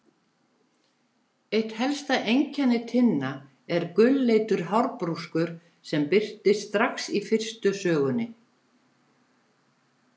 Eitt helsta einkenni Tinna er gulleitur hárbrúskur sem birtist strax í fyrstu sögunni.